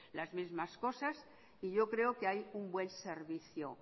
las mismas cosas y yo creo que hay un buen servicio